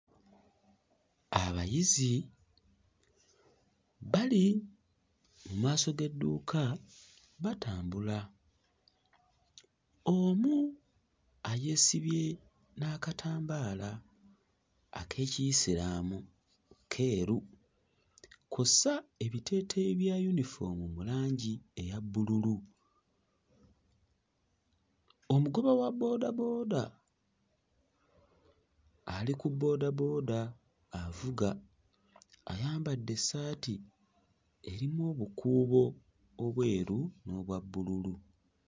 Abayizi bali mu maaso g'edduuka batambula omu ayeesibye n'akatambaala ak'Ekiyisiraamu keeru kw'ossa ebiteeteeyi bya yunifoomu mu langi eya bbululu. Omugoba wa boodabooda ali ku boodabooda avuga ayambadde essaati erimu obukuubo obweru n'obwa bbululu.